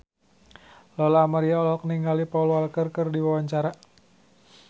Lola Amaria olohok ningali Paul Walker keur diwawancara